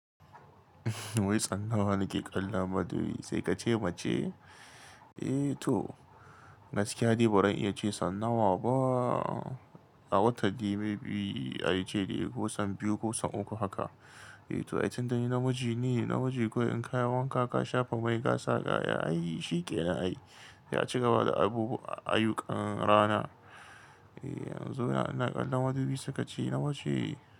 Wai tsanawa nake kalon madubi sai ka ce mace? Eh to, gaskiya dai ba ran iya ce tsanawa ba. A wata dai maybe, ai ce dai kosan biyu kosan uku haka. Eh to ai tun da ni namiji ne, namiji kawai in kai wanka ka shafa mai gasa ka, ya ai shi ƙena ai. Sai aci gaba da abubu ayukan rana. Eh yanzu na kalon madubi sakace nawa ce?